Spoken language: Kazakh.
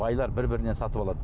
байлар бір бірінен сатып алады